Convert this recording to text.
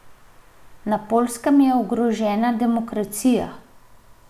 Na Poljskem je ogrožena demokracija ...